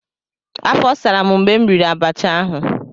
afo saram mgbe m riri abacha ahu.